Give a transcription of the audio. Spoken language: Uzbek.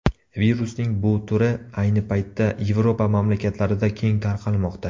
Virusning bu turi ayni paytda Yevropa mamlakatlarida keng tarqalmoqda.